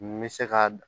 N bɛ se ka